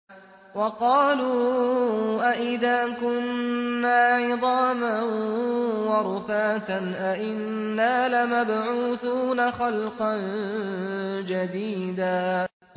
وَقَالُوا أَإِذَا كُنَّا عِظَامًا وَرُفَاتًا أَإِنَّا لَمَبْعُوثُونَ خَلْقًا جَدِيدًا